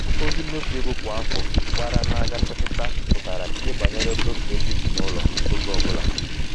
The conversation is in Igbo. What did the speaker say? ozi mmefu ego kwa afọ gbara n'anya mmetụta pụtara ihe banyere mmefu ego ezinụlọ oge ọbụla.